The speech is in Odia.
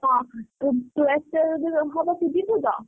ହଁ ତୁ ତୁ ଏତେ ଯଦି ହବ ତୁ ଯିବୁ ତ?